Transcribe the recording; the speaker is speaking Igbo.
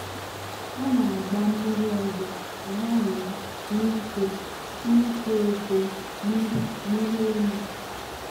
ha na-agba mmiri ọzọ ka ha wee nwee ike ito eto miri miri emi.